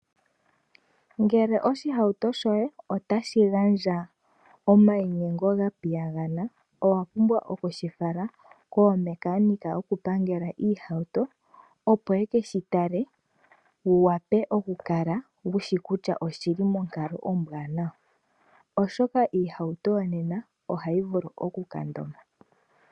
Ngele oshihauto shoye otashi gandja omainyengo gapiyagana , owapumbwa okushi fala kaapangeli yokupangela iihauto, opo yekeshi tale wu wape okukala wushi kutya oshili monkalo ombwaanawa, oshoka iihauto yonena ohayi vulu okukandoma.